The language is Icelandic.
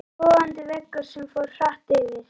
Logandi veggur sem fór hratt yfir.